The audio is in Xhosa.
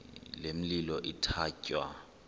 le milo ithatya